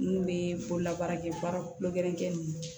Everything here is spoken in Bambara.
N'u bɛ bolola baarakɛ baara kolo gɛrɛnkɛ ye